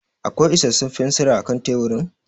Akwai isarsun fensira a kan teburin?